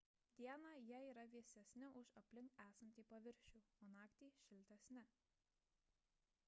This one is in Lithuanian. dieną jie yra vėsesni už aplink esantį paviršių o naktį – šiltesni